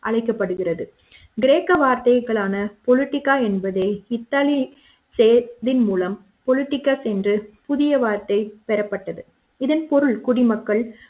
அழைக்கப்படுகிறது கிரேக்க வார்த்தைகளான பொலிடிகா என்பதை இத்தாலியின் செயல் திறன் மூலம் பொலிடிகா சென்று புதிய வார்த்தை பெறப்பட்டது இதன் பொருள் குடிமக்கள்